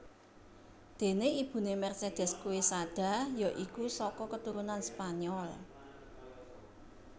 Déné ibuné Mercedes Quesada ya iku saka keturunan Spanyol